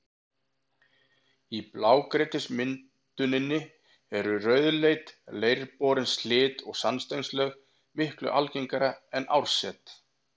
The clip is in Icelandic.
Í blágrýtismynduninni eru rauðleit, leirborin silt- og sandsteinslög miklu algengari en árset.